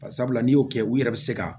Bari sabula n'i y'o kɛ u yɛrɛ bɛ se ka